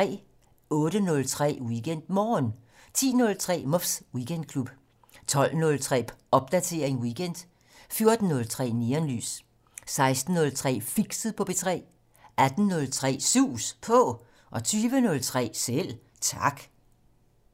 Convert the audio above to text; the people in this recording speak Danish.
08:03: WeekendMorgen 10:03: Muffs Weekendklub 12:03: Popdatering weekend 14:03: Neonlys 16:03: Fixet på P3 18:03: Sus På 20:03: Selv Tak